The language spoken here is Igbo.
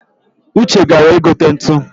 Uche gara igote ntu